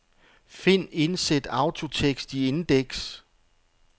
Find indsæt autotekst i indeks.